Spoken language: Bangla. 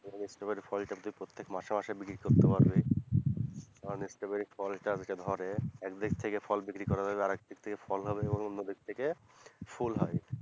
স্ট্রবেরি ফলটা তুই প্রত্যেক মাসে মাসে বিক্রি করতে পারবি, কারণ স্ট্রবেরি ফলটা ওইটা ধরে একদিক থেকে ফল বিক্রি করা যাবে আর এক দিক থেকে ফল হবে এবং অন্যদিক থেকে ফুল হয়,